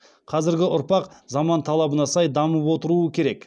қазіргі ұрпақ заман талабына сай дамып отыруы керек